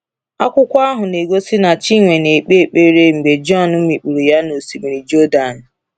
Akwụkwọ ahụ na-egosi na Chinwe na-ekpe ekpere mgbe Jọn mikpuru ya na Osimiri Jọdan.